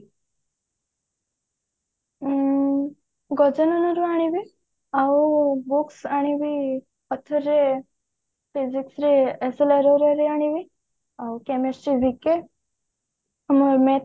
ଉଁ ଗଜାନନ ରୁ ଆଣିବି ଆଉ books ଆଣିବି author physics ରେ SLRR ର ଆଣିବି ଆଉ chemistry ରେ BK